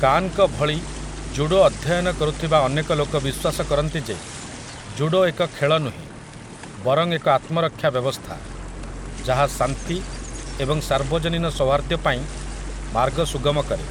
କାନ୍‌ଙ୍କ ଭଳି ଜୁଡୋ ଅଧ୍ୟୟନ କରୁଥିବା ଅନେକ ଲୋକ ବିଶ୍ୱାସ କରନ୍ତି ଯେ ଜୁଡୋ ଏକ ଖେଳ ନୁହେଁ ବରଂ ଏକ ଆତ୍ମରକ୍ଷା ବ୍ୟବସ୍ଥା, ଯାହା ଶାନ୍ତି ଏବଂ ସାର୍ବଜନୀନ ସୌହାର୍ଦ୍ଦ୍ୟ ପାଇଁ ମାର୍ଗ ସୁଗମ କରେ ।